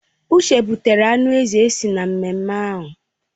Uche butere anụ ezi si n'ememme ahụ